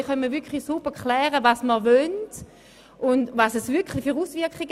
Denn wir wissen nicht, was wir damit auslösen.